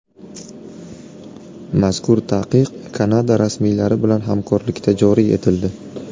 Mazkur taqiq Kanada rasmiylari bilan hamkorlikda joriy etildi.